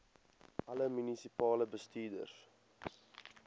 alle munisipale bestuurders